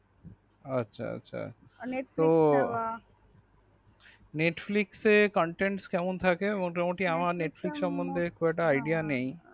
আচ্ছা আচ্ছা আচ্ছা তো netflix সে contents কেমন থাকে মোটামোটি আমার netflix সমন্ধে খুব একটা idea নেই।